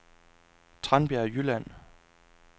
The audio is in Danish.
Tranbjerg Jylland